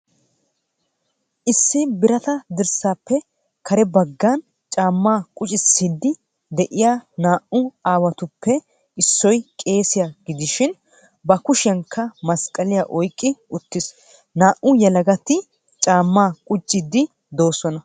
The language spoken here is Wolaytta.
Issi birata dirssaappe kare baggan caammaa quccisiidi de'iyaa naa'u aawatuppe issoy qeessiya gidishin ba kushshiyaankka masqaliya oyqqi uttiis. Naa'u yelagatti caammaa quccidi doosonna.